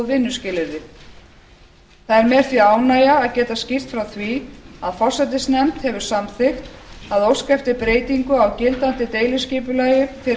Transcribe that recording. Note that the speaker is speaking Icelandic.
vinnuskilyrði það er mér því ánægja að geta skýrt frá því að forsætisnefnd hefur samþykkt að óska eftir breytingu á gildandi deiliskipulagi fyrir